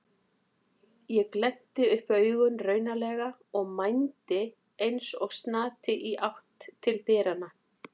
Ég glennti upp augun raunalega og mændi eins og snati í átt til dyranna.